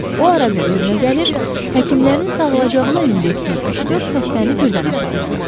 Lakin o ara bir özünə gəlir, həkimlərin sağalacağına ümid etdiyi üç-dörd xəstəni birdən aparırdı.